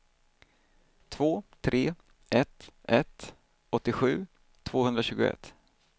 två tre ett ett åttiosju tvåhundratjugoett